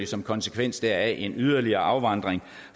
som konsekvens deraf selvfølgelig en yderligere afvandring